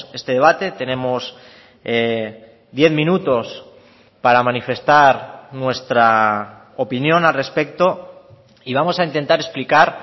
este debate tenemos diez minutos para manifestar nuestra opinión al respecto y vamos a intentar explicar